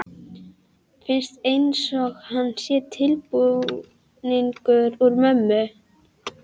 Finnst einsog hann sé tilbúningur úr mömmu.